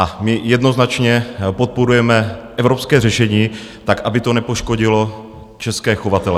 A my jednoznačně podporujeme evropské řešení, tak aby to nepoškodilo české chovatele.